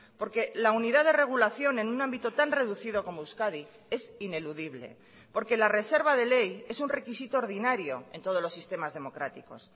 porque la unidad de regulación en un ámbito tan reducido como euskadi es ineludible porque la reserva de ley es un requisito ordinario en todos los sistemas democráticos